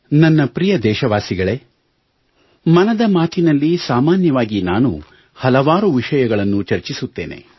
ನನ್ನ ಪ್ರಿಯ ದೇಶವಾಸಿಗಳೇ ಮನದ ಮಾತಿನಲ್ಲಿ ಸಾಮಾನ್ಯವಾಗಿ ನಾನು ಹಲವಾರು ವಿಷಯಗಳನ್ನು ಚರ್ಚಿಸುತ್ತೇನೆ